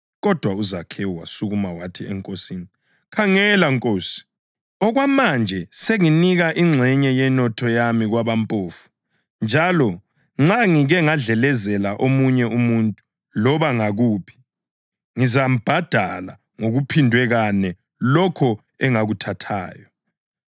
Kodwa uZakhewu wasukuma wathi eNkosini, “Khangela, Nkosi! Okwamanje senginika ingxenye yenotho yami kwabampofu njalo nxa ngike ngadlelezela omunye umuntu loba ngakuphi, ngizambhadala ngokuphindwe kane lokho engakuthathayo.”